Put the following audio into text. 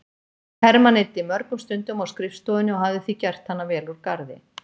Hermann eyddi mörgum stundum á skrifstofunni og hafði því gert hana vel úr garði.